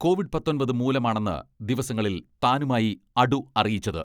Covid പത്തൊമ്പത് മൂലമാണെന്ന് ദിവസങ്ങളിൽ താനുമായി അടു അറിയിച്ചത്.